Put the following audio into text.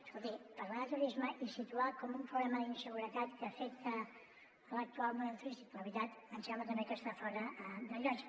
escolti parlar de turisme i situar com un problema la inseguretat que afecta l’actual model turístic la veritat ens sembla també que està fora de lloc